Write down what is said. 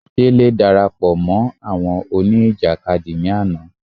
Délé darapọ̀ mọ́ àwọn òní ìjàkadì ní àná